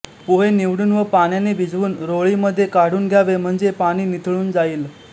पोहे निवडून व पाण्याने भिजवून रोळी मध्ये काढून घ्यावे म्हणजे पाणी निथळून जाईल